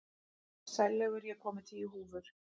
Sælaugur, ég kom með tíu húfur!